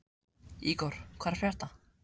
Ígor, hvað er að frétta?